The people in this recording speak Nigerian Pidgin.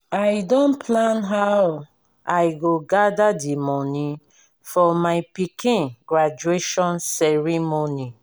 i don plan how i go gather di money for my pikin graduation ceremony